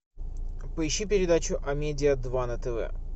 поищи передачу амедиа два на тв